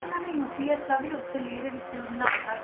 ਇਹਨਾਂ ਨੇ UPS ਦਾ ਵੀ ਉੱਥੇ ਲੇਹ ਦੇ ਵਿੱਚ ਬਣਾ ਦਿੱਤਾ।